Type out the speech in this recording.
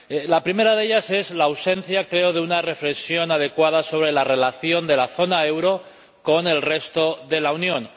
La primera de ellas es la ausencia —creo— de una reflexión adecuada sobre la relación de la zona del euro con el resto de la Unión.